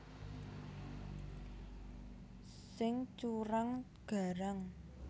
Sing curang garang